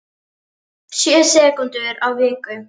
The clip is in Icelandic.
Sjö sekúndur á viku